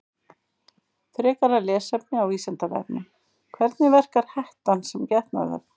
Frekara lesefni á Vísindavefnum: Hvernig verkar hettan sem getnaðarvörn?